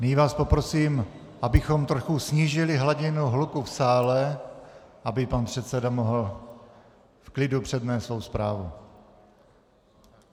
Nyní vás poprosím, abychom trochu snížili hladinu hluku v sále, aby pan předseda mohl v klidu přednést svou zprávu.